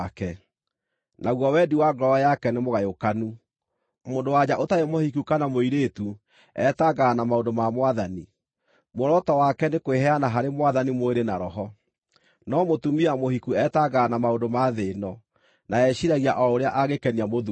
naguo wendi wa ngoro yake nĩmũgayũkanu. Mũndũ-wa-nja ũtarĩ mũhiku kana mũirĩtu etangaga na maũndũ ma Mwathani: Muoroto wake nĩ kwĩheana harĩ Mwathani mwĩrĩ na roho. No mũtumia mũhiku etangaga na maũndũ ma thĩ ĩno, na eciiragia o ũrĩa angĩkenia mũthuuriwe.